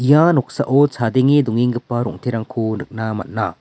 ia noksao chadenge dongenggipa rong·terangko nikna man·a.